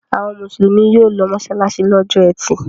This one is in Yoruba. Àwọn Mùsùlùmí yóò lọ mọ́ṣáláṣí lọ́jọ́ ẹtì.